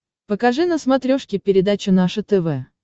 покажи на смотрешке передачу наше тв